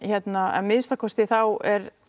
að minnsta kosti þá